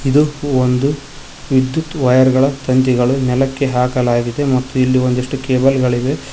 ಇದು ಒಂದು ವಿದ್ಯುತ್ ವೈರ್ ಗಳ ತಂತಿಗಳು ನೆಲಕ್ಕೆ ಹಾಕಲಾಗಿದೆ ಮತ್ತು ಇಲ್ಲಿ ಒಂದಿಷ್ಟು ಕೇಬಲ್ ಗಳಿವೆ.